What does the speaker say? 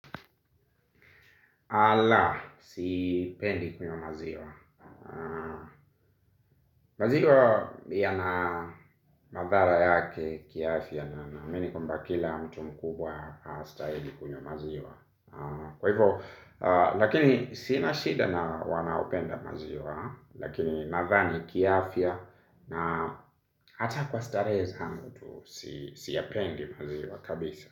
La, sipendi kunywa maziwa. Maziwa yana madhara yake kiafya na naamini kwamba kila mtu mkubwa astahili kunywa maziwa. Kwa hivyo, lakini sina shida na wanaopenda maziwa. Lakini nadhani kiafya na hata kwa starehe zangu tu siyapendi maziwa kabisa.